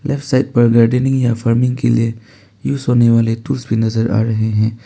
उस side gardening या farming के लिए यूज होने वाले टूल्स भी नजर आ रहे हैं।